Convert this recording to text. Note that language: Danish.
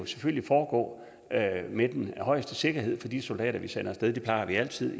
selvfølgelig foregå med den højeste sikkerhed for de soldater vi sender af sted det plejer vi altid